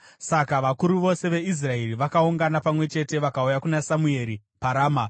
Saka vakuru vose veIsraeri vakaungana pamwe chete vakauya kuna Samueri paRama.